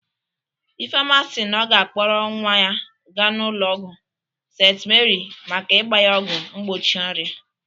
Ifeoma si na ọ ga-akpọrọ nwa ya gaa ụlọ ọgwụ St.Mary maka ịgba ya ọgwụ mgbochi ọrịa